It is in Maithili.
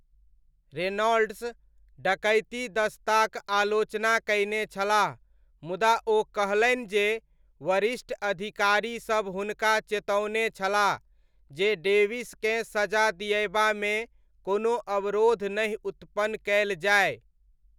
रेनॉल्ड्स डकैती दस्ताक आलोचना कयने छलाह मुदा ओ कहलनि जे वरिष्ठ अधिकारीसब हुनका चेतओने छलाह जे डेविसकेँ सजा दिअयबामे कोनो अवरोध नहि उत्पन्न कयल जाय।